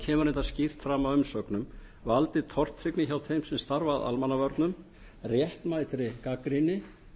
kemur reyndar skýrt fram í umsögnum valdið tortryggni hjá þeim sem starfa að almannavörnum réttmætri gagnrýni